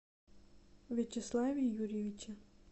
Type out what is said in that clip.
вячеславе юрьевиче